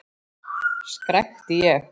skrækti ég.